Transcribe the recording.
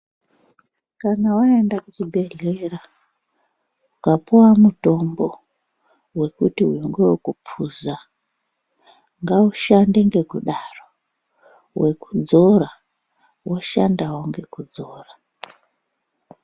Kana waenda kuchibhedhlera ukapuwa mutombo, wekuti uyu ngewekuphuza ngaushande ngekudaro. Wekudzora woshandawo ngekudzora.